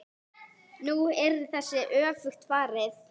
Nú er þessu öfugt farið.